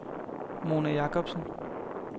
Mona Jacobsen